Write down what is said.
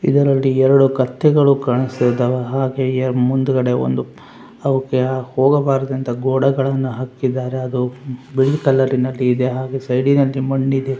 ಇದರಲ್ಲಿ ಎರಡು ಕತ್ತೆಗಳು ಕಾಣಸ್ತಿದವ್ ಹಾಗೆ ಮುಂದಗಡೆ ಒಂದು ಅವುಕೆ ಹೋಗಬಾರದಂತ ಗೋಡೆಗಳನ್ನು ಹಾಕಿದಾರೆ ಅದು ಬಿಳಿ ಕಲರಿ ನಲ್ಲಿ ಹಾಗೆ ಸೈಡಿ ನಲ್ಲಿ ಮಣ್ಣ ಇದೆ.